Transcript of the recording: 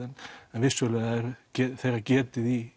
en vissulega er þeirra getið í